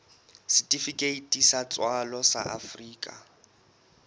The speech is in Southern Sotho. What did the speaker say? setifikeiti sa tswalo sa afrika